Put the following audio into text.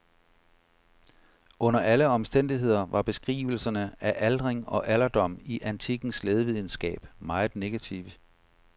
Under alle omstændigheder var beskrivelserne af aldring og alderdom i antikkens lægevidenskab meget negative.